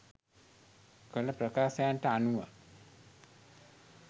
කළ ප්‍රකාශයන්ට අනුව